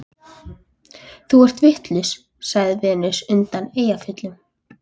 Þú ert vitlaus, sagði Venus undan Eyjafjöllum.